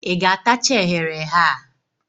Ị ga-atacha eghere eghe a?